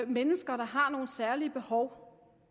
mennesker der har nogle særlige behov